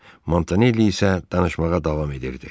Montanelli isə danışmağa davam edirdi.